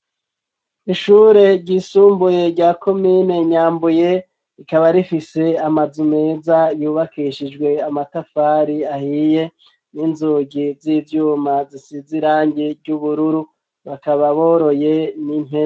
Ishure ry'isumbuye rya komine Nyambuye ikaba rifise amazu meza yubakishijwe amatafari ahiye n'inzugi z'ivyuma zisize irange ry'ubururu bakaba boroye n'impene.